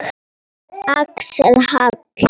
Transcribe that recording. Axel Hall.